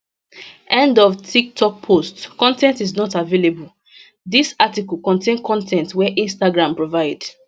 end of tiktok post con ten t is not available dis article contain con ten t wey instagram provide